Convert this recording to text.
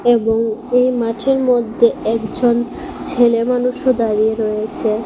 এবং এই মাঠের মধ্যে একজন ছেলেমানুষও দাঁড়িয়ে রয়েছে।